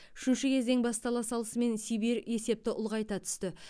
үшінші кезең бастала салысымен сибирь есепті ұлғайта түсті